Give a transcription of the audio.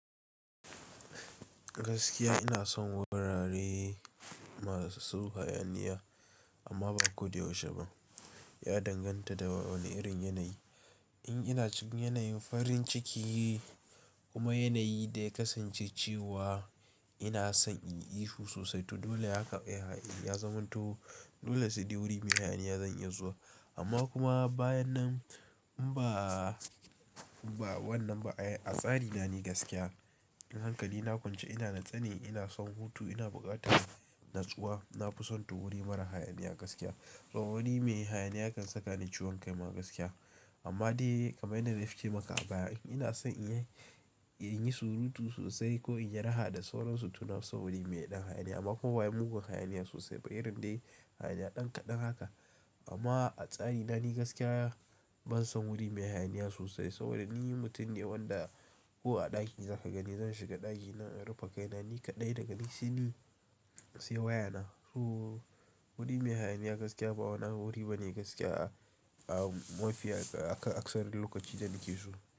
Gaskiya ina son wurare masu hayaniya amma ba ko da yaushe ba. Ya danganta da wane irin yanayi. In ina cikin yanayin farin ciki kuma yanayi da ya kasance cewa ina son in yi ihu sosai to dole yaka ya, ya zama to dole sai wuri mai hayaniya zan iya zuwa. Amma kuma bayan nan in ba, ba wannan ba ai a tsari na ni gaskiya. Ni hankali na kwance ina natse ne, ina son hutu, ina buƙatar natsuwa, na fi son to wuri mara hayaniya gaskiya. To wuri mai hayaniya ya kan saka ni ciwon kai ma gaskiya. Amma dai kaman yanda nace maka a baya ina son in yi, in yi surutu sosai ko in yi raha da sauransu to nafi son wuri mai ɗan hayaniya amma kuma ba wai mugun hayaniya sosai, ba irin dai hayaniya ɗan kaɗan haka. Amma a tsari na ni gaskiya ban son wuri mai hayaniya sosai saboda ni mutum ne wanda ko a ɗaki zaka gani zan shiga ɗaki na in rufe kaina ni kaɗai daga ni sai ni sai wayana. So wuri mai hayaniya gaskiya ba wuri bane gaskiya a, a mafiya ka, akasari lokacinda nake so.